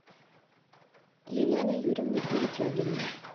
елена юрьевна перетягина